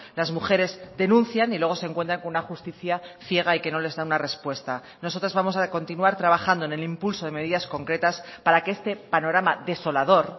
las mujeres denuncian y luego se encuentran con una justicia ciega y que no les da una respuesta nosotros vamos a continuar trabajando en el impulso de medidas concretas para que este panorama desolador